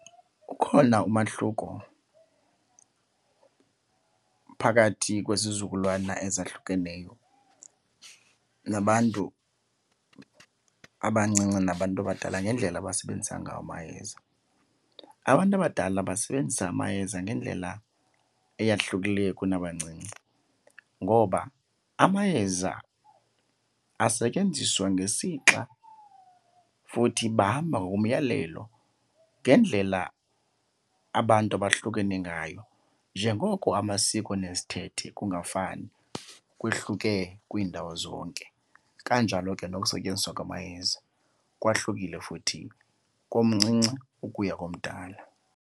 Ukhona umahluko phakathi kwesizukulwana ezahlukeneyo nabantu abancinci nabantu abadala ngendlela abasebenzisa ngawo amayeza. Abantu abadala basebenzisa amayeza ngendlela eyahlukileyo kunabancinci ngoba amayeza asetyenziswa ngesixa futhi bahamba ngokomyalelo, ngendlela abantu abahlukene ngayo. Njengoko amasiko nezithethe kungafani, kwehluke kwiindawo zonke, kanjalo ke nokusetyenziswa kwamayeza kwahlukile futhi komncinci ukuya komdala.